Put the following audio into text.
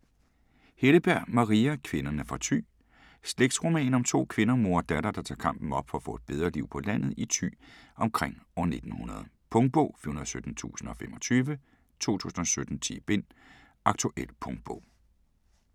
Helleberg, Maria: Kvinderne fra Thy Slægtsroman om to kvinder, mor og datter, der tager kampen op for at få et bedre liv på landet i Thy omkring år 1900. Punktbog 417025 2017. 10 bind. Aktuel punktbog